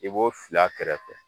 I b'o fil'a kɛrɛfɛ